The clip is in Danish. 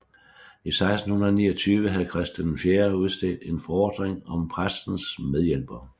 I 1629 havde Christian IV udstedt en forordning om præstens medhjælpere